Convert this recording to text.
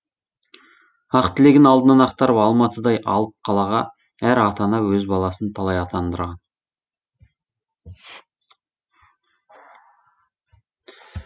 ақ тілегін алдынан ақтарып алматыдай алып қалаға әр ата ана өз баласын талай аттандырған